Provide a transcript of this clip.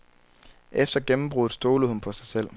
Efter gennembruddet stolede hun på sig selv.